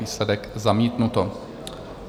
Výsledek: zamítnuto.